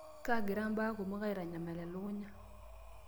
Kaagira mbaa kumok aitanyamal elukunya.